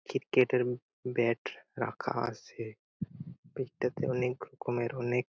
ঠিক গেট -এর মুখে ব্যাট রাখা আছে গেট -টাতে অনেক রকমের অনেক-- ।